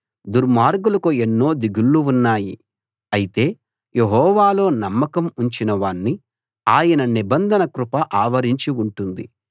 దుర్మార్గులకు ఎన్నో దిగుళ్ళు ఉన్నాయి అయితే యెహోవాలో నమ్మకం ఉంచిన వాణ్ణి ఆయన నిబంధన కృప ఆవరించి ఉంటుంది